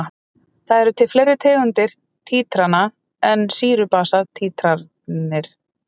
Það eru til fleiri tegundir títrana en sýru-basa títranir.